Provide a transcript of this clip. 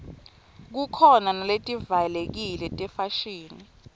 khukhona naletivalekile tefashini